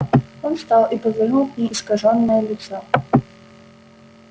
он встал и повернул к ней искажённое лицо